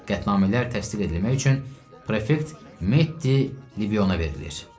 Qətnamələr təsdiq edilmək üçün prefekt Metti Libiyona verilir.